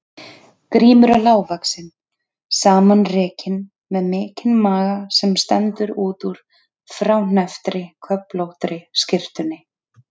Grímur er lágvaxinn, samanrekinn, með mikinn maga sem stendur út úr fráhnepptri köflóttri skyrtunni.